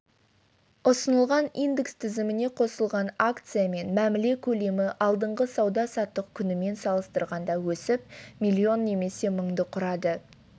ұсынылған индекс тізіміне қосылған акциямен мәміле көлемі алдыңғы сауда-саттық күнімен салыстырғанда өсіп миллион немесе мыңды құрады